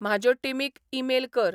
म्हज्याो टीमीक ईमेल कर